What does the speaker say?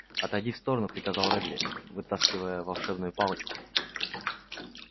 отойди в сторону приказал реддл вытаскивая волшебную палочку